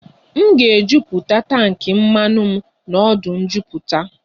M ga-ejuputa tankị mmanụ m n'ọdụ njuputa